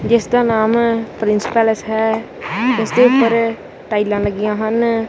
ਜਿਸ ਦਾ ਨਾਮ ਪ੍ਰਿੰਸ ਪੈਲਸ ਹੈ ਇਸਕੇ ਉੱਪਰ ਟਾਈਲਾਂ ਲੱਗੀਆਂ ਹਨ।